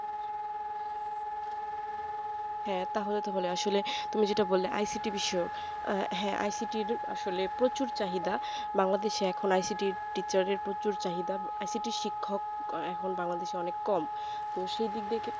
হ্যাঁ তাহলে তো ভালোই আসলে তুমি যেইটা বললে icity বিষয়ক আহ হ্যাঁ icity র আসলে প্রচুর চাহিদা bangladesh এ এখন icityteacher এর প্রচুর চাহিদা icity র শিক্ষক এখন bangladesh অনেক কম তো সেদিক থেকে